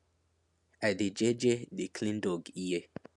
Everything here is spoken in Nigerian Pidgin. i dey jeje dey clean dog ear